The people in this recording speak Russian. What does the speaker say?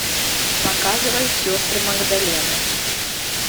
показывай сестры магдалены